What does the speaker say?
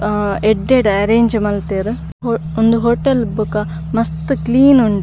ಆ ಎಡ್ಡೆಡು ಅರೇಂಜ್ ಮಂತೆರ್ ಉಂದು ಹೋಟೇಲ್ ಬೊಕ ಮಸ್ತ್ ಕ್ಲೀನ್ ಉಂಡು.